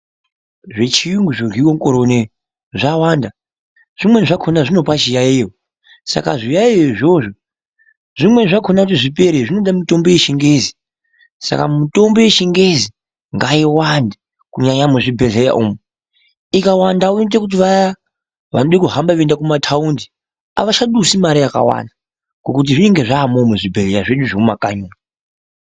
Zvechiyungu zvoryiwe mukore uno zvawanda, zvimweni zvakaona zvinopa chiyayo, saka zviyaiyo izvozvo zvimweni zvakona kuti zvipere zvinode mitombo yechingezi saka mitombo yechingezi ngaiwande kunyanya muzvibhehleya umu ikawandawo inoite kuti vaya vanode kuhamba veienda kumataundi avachadusi mare yakawanda ngokuti zvinenge zvaamoo muzvibhehleya zvedu zvemumakanyi umu.